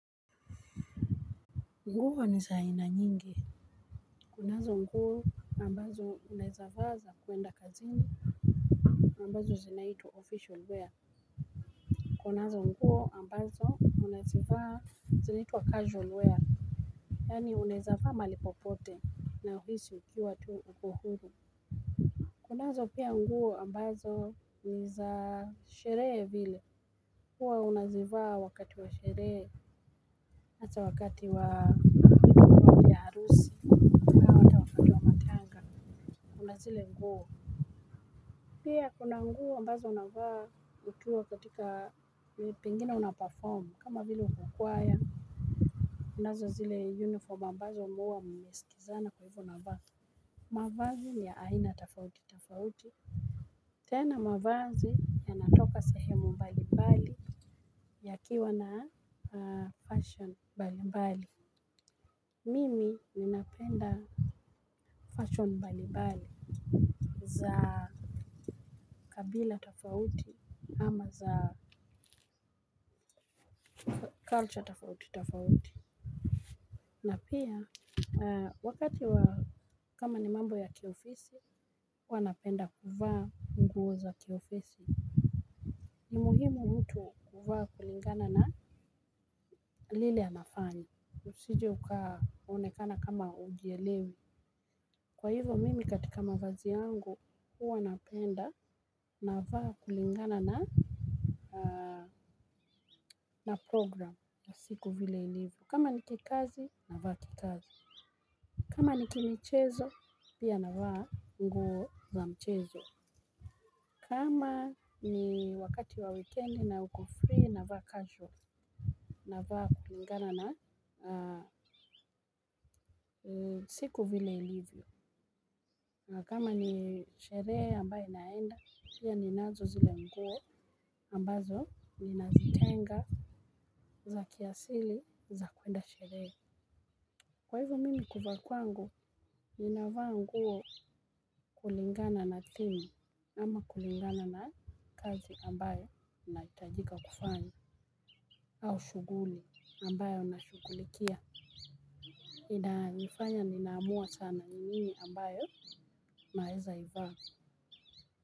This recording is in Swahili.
Nguo niza aina nyingi. Kunazo nguo ambazo uneweza vaa za kuenda kazini ambazo zinaitwa official wear kunazo nguo ambazo unazivaa zinaitwa casual wear yani uneweza vaa mahali popote na uhisi ukiwa tu upo huru. Kunazo pia nguo ambazo niza sherehe vile huwa unazivaa wakati wa sherehe ata wakati wa vya harusi tena ata wakati wa matanga kunazile nguo. Pia kunanguo mbazo na vaa ukiwa katika pengine una performa kama ville ukukwaya. Unazo zile uniform mbazo muwa mmesikizana kwa hivu na vaa. Mavazi ni ya aina tafauti tafauti tena mavazi yanatoka sehemu mbali mbali yakiwa na a fashon mbali mbali. Mimi ninafenda fashion mbali bali za kabila tofauti ama za culture tafauti tafauti. Na pia a wakati wa kama ni mambo ya kiofisi uwa napenda kuvaa nguo za kiofisi. Ni muhimu mtu kuvaa kulingana na lile anafanya. Usije ukaa onekana kama ujielewi. Kwa hivyo mimi katika mavazi yangu uwa napenda na vaa kulingana na na programu ya siku vile ilivo kama ni kikazi na vaa kikazi. Kama ni kimichezo pia na vaa nguo za mchezo. Kama ni wakati wa weekend na ukofri na vaa casual. Na vaa kulingana na siku vile ilivyo. Na kama ni sheree ambaye naenda pia ni nazo zile nguo ambazo nazitenga za kiasili za kwenda sheree. Kwa hivyo mimi kuva kwangu ni na vaa nguo kulingana na theme. Ama kulingana na kazi ambayo na itajika kufanya. Au shuguli ambayo na shugulikia. Ina nifanya ninaamua sana nini ambayo na eza iva.